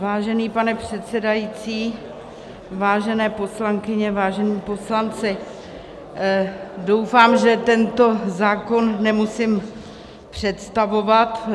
Vážený pane předsedající, vážené poslankyně, vážení poslanci, doufám, že tento zákon nemusím představovat.